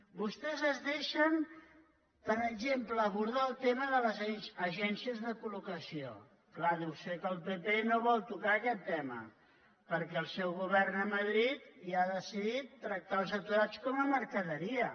vostès es deixen per exemple d’abordar el tema de les agències de colvol tocar aquest tema perquè el seu govern a madrid ja ha decidit tractar els aturats com a mercaderia